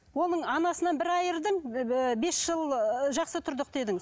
оны анасынан бір айырдың бес жыл ыыы жақсы тұрдық дедің